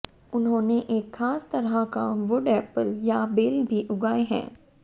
उन्होंने एक खास तरह का वुड एप्पल या बेल भी उगाए हैं